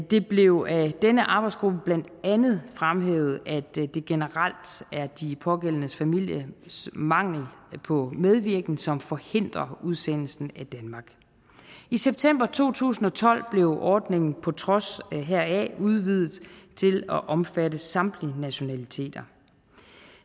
det blev af denne arbejdsgruppe blandt andet fremhævet at det generelt er de pågældende familiers mangel på medvirken som forhindrer udsendelsen af danmark i september to tusind og tolv blev ordningen på trods heraf udvidet til at omfatte samtlige nationaliteter